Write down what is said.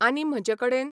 आनी म्हजे कडेन